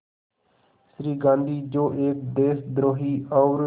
श्री गांधी जो एक देशद्रोही और